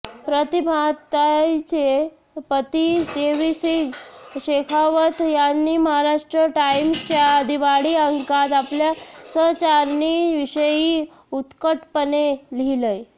प्रतिभाताईंचे पती देवीसिग शेखावत यांनी महाराष्ट्र टाइम्सच्या दिवाळी अंकात आपल्या सहचारिणीविषयी उत्कटपणे लिहिलंय